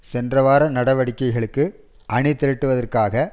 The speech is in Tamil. சென்ற வார நடவடிக்கைகளுக்கு அணி திரட்டுவதற்காக